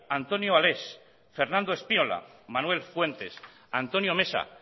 antonio ales fernando espinola manuel fuentes antonio mesa